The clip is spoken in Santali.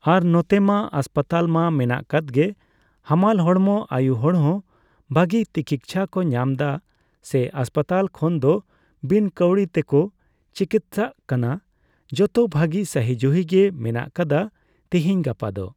ᱟᱨ ᱱᱚᱛᱮᱼᱢᱟ ᱦᱟᱥᱯᱟᱛᱟᱞ ᱢᱟ ᱢᱮᱱᱟᱜ ᱟᱠᱟᱫ ᱜᱮ᱾ ᱦᱟᱢᱟᱞ ᱦᱚᱲᱢᱚ ᱟᱭᱩ ᱦᱚᱲ ᱦᱚᱸ ᱵᱷᱟᱹᱜᱤ ᱛᱤᱠᱤᱪᱪᱷᱟ ᱠᱚ ᱧᱟᱢᱫᱟ ᱾ ᱥᱮ ᱦᱟᱸᱥᱯᱟᱛᱟᱞ ᱠᱷᱚᱱᱫᱚ ᱵᱤᱱ ᱠᱟᱹᱣᱰᱤ ᱛᱮᱠᱚ ᱪᱤᱠᱤᱛᱥᱟ ᱠᱟᱱᱟ ᱡᱚᱛᱚ ᱵᱷᱟᱹᱜᱤ ᱥᱟᱦᱤ ᱡᱩᱦᱤᱜᱮ ᱢᱮᱱᱟᱜ ᱟᱠᱟᱫᱟ ᱛᱤᱦᱤᱧ ᱜᱟᱯᱟ ᱫᱚ ᱾